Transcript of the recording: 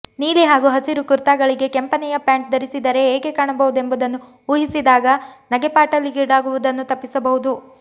ನೀಲಿ ಹಾಗೂ ಹಸಿರು ಕುರ್ತಾಗಳಿಗೆ ಕೆಂಪನೆಯ ಪ್ಯಾಂಟ್ ಧರಿಸಿದರೇ ಹೇಗೆ ಕಾಣಬಹುದೆಂಬುದನ್ನು ಊಹಿಸಿದಾಗ ನಗೆಪಾಟಲಿಗೀಡಾಗುವುದನ್ನು ತಪ್ಪಿಸಬಹುದು